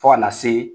Fo kana se